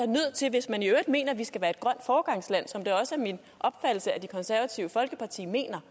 hvis man i øvrigt mener vi skal være et grønt foregangsland som det også er min opfattelse at det konservative folkeparti mener